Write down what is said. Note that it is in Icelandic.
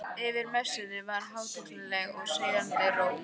Yfir messunni var hátignarleg og seiðandi ró.